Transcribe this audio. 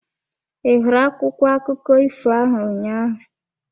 Ị hụrụ akwụkwọ akụkọ ifo ahụ ụnyaahụ?